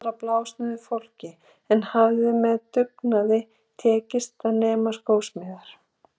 Hann var af blásnauðu fólki en hafði með dugnaði tekist að nema skósmíðar.